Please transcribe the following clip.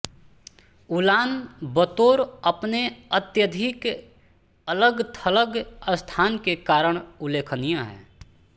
Ulan Bator अपने अत्यधिक अलगथलग स्थान के कारण उल्लेखनीय है